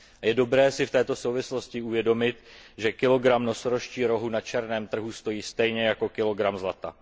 Je dobré si v této souvislosti uvědomit, že kilogram nosorožčího rohu na černém trhu stojí stejně jako kilogram zlata.